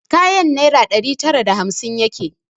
Kayan naira ɗari tara da hamsin yake